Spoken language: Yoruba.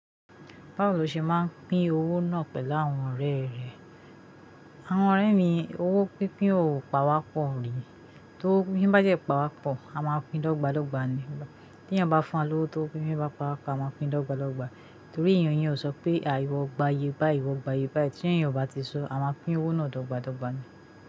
Báwo lo ṣe máa ń pín owó náà pẹ̀lú àwọn ọ̀rẹ́ rẹ̀? Àwọn ọ̀rẹ́ mi, owó pínpín ò pa wá pọ̀ rí. Tó wó pínpín bá jẹ́ pa wá pọ̀, a máa pín dọ́gbà dọ́gbà ni. Tí ẹni bá fún wa lówó tó pín pín bá pa wá, a máa pín lọ́gbà lọ́gbà. Torí èèyàn yẹn ò sọ pé àìwọ̀ gba iyebái, iwọ̀ gba iyebá. Tí ẹniyan ti sọ, a máa pín owó náà dọ́gbá dọ́gbá ni.